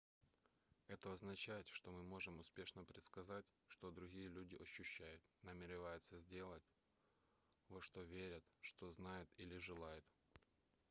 это означает что мы можем успешно предсказать что другие люди ощущают намереваются сделать во что верят что знают или желают